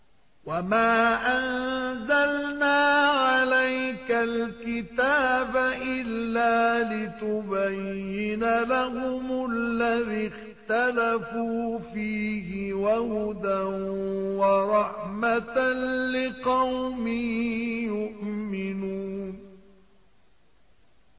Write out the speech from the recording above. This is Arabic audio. وَمَا أَنزَلْنَا عَلَيْكَ الْكِتَابَ إِلَّا لِتُبَيِّنَ لَهُمُ الَّذِي اخْتَلَفُوا فِيهِ ۙ وَهُدًى وَرَحْمَةً لِّقَوْمٍ يُؤْمِنُونَ